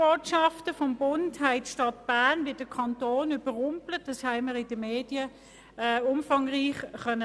Die Hiobsbotschaften des Bundes haben die Stadt Bern und den Kanton Bern überrumpelt, wie man in den Medien ausführlich lesen konnte.